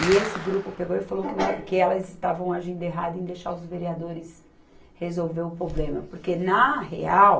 E esse grupo pegou e falou que elas estavam agindo errado em deixar os vereadores resolver o problema, porque, na real,